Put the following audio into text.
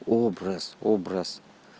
образ образ